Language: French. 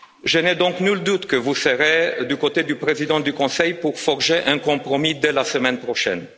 Je n'ai donc nul doute que vous serez du côté du président du Conseil pour forger un compromis dès la semaine prochaine.